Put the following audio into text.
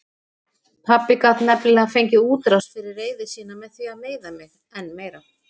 Pabbi gat nefnilega fengið útrás fyrir reiði sína með því að meiða mig enn meira.